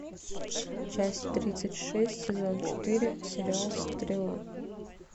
часть тридцать шесть сезон четыре сериал стрела